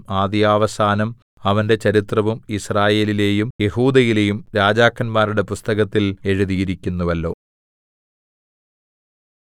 ആദ്യവസാനം അവന്റെ ചരിത്രവും യിസ്രായേലിലെയും യെഹൂദയിലെയും രാജാക്കന്മാരുടെ പുസ്തകത്തിൽ എഴുതിയിരിക്കുന്നുവല്ലോ